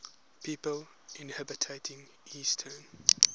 people inhabiting eastern